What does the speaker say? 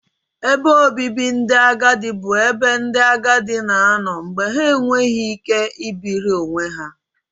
Ebe obibi ndị agadi bụ ebe ndị agadi na-anọ mgbe ha na-enweghị ike ibiri onwe ha